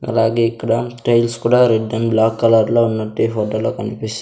అలాగే ఇక్కడ టైల్స్ కూడా రెడ్ అండ్ బ్లాక్ కలర్ లో ఉన్నట్టు ఈ ఫోటోలో కనిపిస్--